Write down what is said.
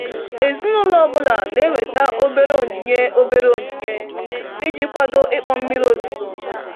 Ezinụlọ ọ bụla na-eweta obere onyinye obere onyinye iji kwado ịkpọ mmiri ozuzo n'obodo.